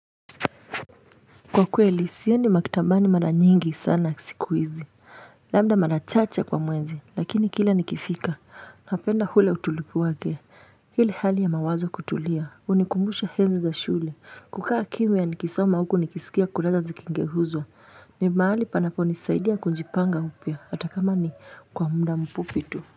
Kwa kweli sioni maktabani mara nyingi sana siku hizi labda mara chache kwa mwezi lakini kila nikifika napenda ule utulivu wake ili hali ya mawazo kutulia hunikumbusha enzi za shule kukaa kimya nikisoma huku nikisikia kurasa zikigeuzwa ni mahali panaponisaidia kujipanga upya hata kama ni kwa muda mfupi tu.